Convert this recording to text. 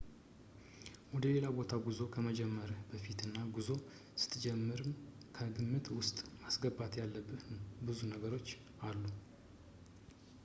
ወደሌላ ቦታ ጉዞ ከመጀመርህ በፊትና ጉዞ ስትጀምርም ከግምት ውስጥ ማስገባት ያለብህ ብዙ ነገሮች አሉ